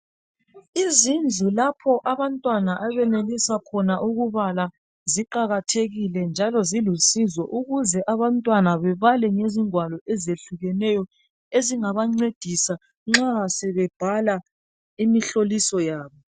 Izindlu lapha abantwana abenelisa ukubala ziqakathekile njalo zilusizo ukuze abantwana bebale ngezigwalo eziyehlukeneyo ezingaba ncedisa nxa sebhala imihlolisa yabo